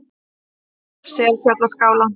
Selfjallaskála